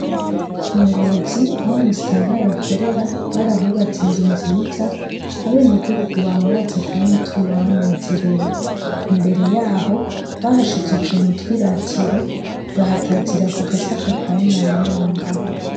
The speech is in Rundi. Ingozi ,Aho musitanteri akorera ,barahubatse inzu nziza ,abenegihugu bama baza kumwitura banezerewe imbere yaho bahasize utuntu twiratiro bahatazira kugagasa ka Inarunyonga.